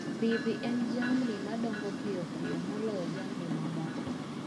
mbidhi en jamni na dongo piyo moloyo jamni mamoko